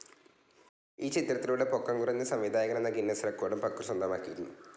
ഈ ചിത്രത്തിലൂടെ പൊക്കം കുറഞ്ഞ സംവിധായകനെന്ന ഗിന്നസ് റെക്കോഡും പക്രു സ്വന്തമാക്കിയിരുന്നു.